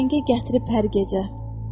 Təngə gətirib hər gecə.